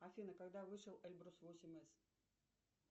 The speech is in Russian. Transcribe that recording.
афина когда вышел эльбрус восемь эс